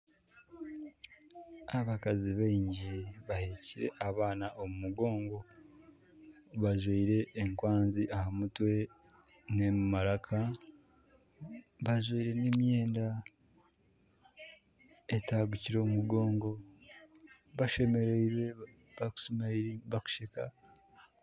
Abakazi baingi bahekyire abaana omu migongo. Bajwire enkwanzi aha mutwe n'omu maraka. Bajwire n'emyenda etagukire omu mugoongo. Bashemerirwe ba kusheka.